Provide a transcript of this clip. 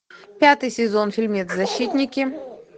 пятый сезон фильмец защитники